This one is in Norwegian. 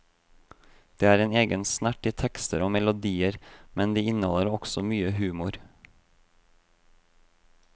Det er en egen snert i tekster og melodier, men de inneholder også mye humor.